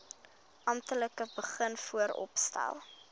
amptelik begin vooropstel